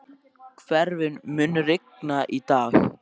Hervin, mun rigna í dag?